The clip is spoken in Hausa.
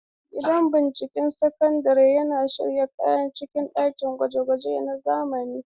Gidan binciken sinadarai yana sanye da kayan aikin ɗakin gwaje-gwaje na zamani.